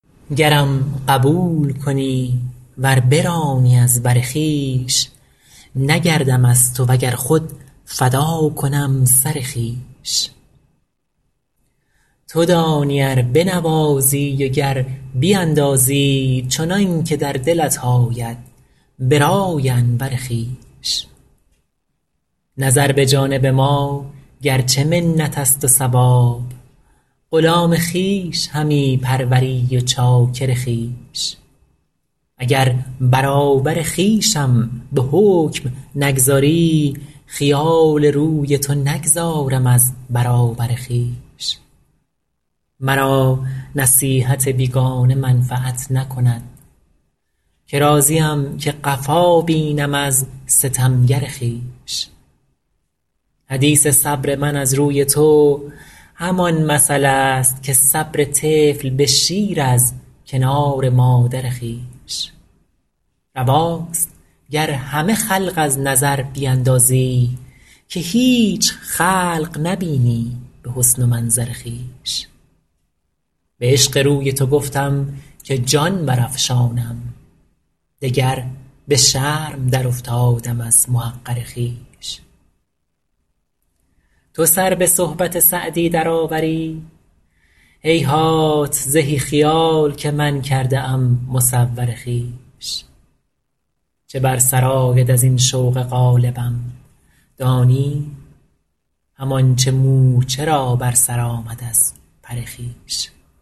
گرم قبول کنی ور برانی از بر خویش نگردم از تو و گر خود فدا کنم سر خویش تو دانی ار بنوازی و گر بیندازی چنان که در دلت آید به رأی انور خویش نظر به جانب ما گر چه منت است و ثواب غلام خویش همی پروری و چاکر خویش اگر برابر خویشم به حکم نگذاری خیال روی تو نگذارم از برابر خویش مرا نصیحت بیگانه منفعت نکند که راضیم که قفا بینم از ستمگر خویش حدیث صبر من از روی تو همان مثل است که صبر طفل به شیر از کنار مادر خویش رواست گر همه خلق از نظر بیندازی که هیچ خلق نبینی به حسن و منظر خویش به عشق روی تو گفتم که جان برافشانم دگر به شرم درافتادم از محقر خویش تو سر به صحبت سعدی درآوری هیهات زهی خیال که من کرده ام مصور خویش چه بر سر آید از این شوق غالبم دانی همان چه مورچه را بر سر آمد از پر خویش